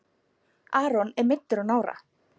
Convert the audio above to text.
Aron er meiddur á nára.